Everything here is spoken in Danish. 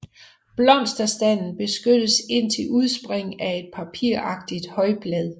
Blomsterstanden beskyttes indtil udspring af et papiragtigt højblad